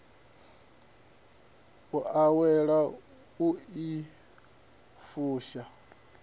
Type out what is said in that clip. u awela u i fusha